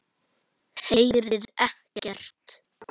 Heyrir ekkert.